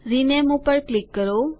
rename પર click કરો